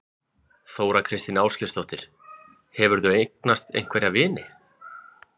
Þóra kristín Ásgeirsdóttir: Hefurðu eignast einhverja vini?